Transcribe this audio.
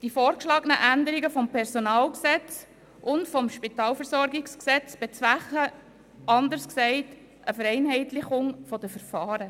Die vorgeschlagenen Änderungen des PG und des Spitalversorgungsgesetzes vom 13. Juni 2013 (SpVG) bezwecken, anders gesagt, eine Vereinheitlichung der Verfahren.